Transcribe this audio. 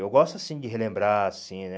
Eu gosto, assim, de relembrar, assim, né?